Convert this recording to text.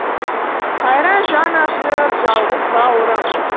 қайран жан ашыр жалғыз бауырым